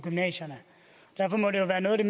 i